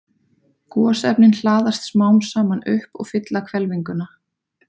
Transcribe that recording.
Gosefnin hlaðast smám saman upp og fylla hvelfinguna.